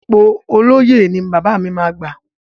Ipò olóyè ni bàbá mi máa gbà.